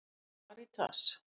Karítas